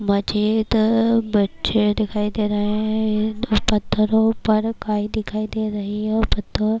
مزید بچے دکھایی دے رہے ہیں، پتھرو پر کیے دکھایی دے رہا ہے- اور پتھر--